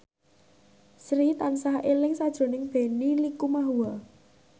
Sri tansah eling sakjroning Benny Likumahua